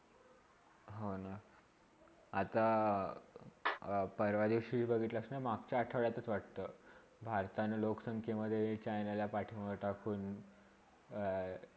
हो, ना, आता परवादिवशी बघितलास ना माघच्या आठवड्यात वाटतं भारताने लोकसंख्यामधे चायनाला पाठीमाघ्ये टाकून अह